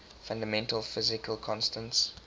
fundamental physical constants